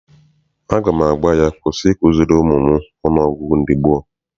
Aga m agwa ya, kwụsị ikuziri ụmụ m ọnụọgụgụ ndị gboo!